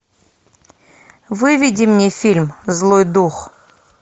выведи мне фильм злой дух